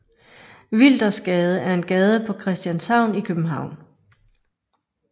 Wildersgade er en gade på Christianshavn i København